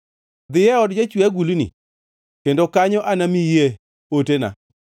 “Dhiyo e od Jachwe agulni, kendo kanyo anamiyie otena.”